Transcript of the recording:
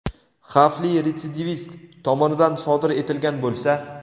xavfli retsidivist tomonidan sodir etilgan bo‘lsa.